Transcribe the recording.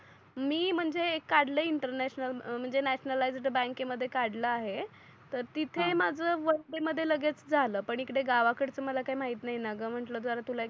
मी म्हणजे एक काढलय इंटरन्याशानल म्हणजे न्याशानल बँक के मध्ये काढल आहे तर तिथे हा माझ वर्क डे मध्ये लगेच झाल पण इकडे गावा कडच मला काही माहीत नाही णा ग म्हटल तुला जर